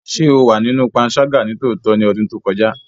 Ṣe o wa sinu panṣaga nitootọ ni ọdun to kọja?